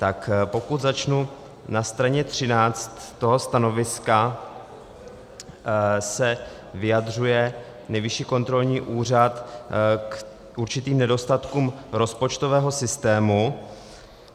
Tak pokud začnu, na straně 13 toho stanoviska se vyjadřuje Nejvyšší kontrolní úřad k určitým nedostatkům rozpočtového systému.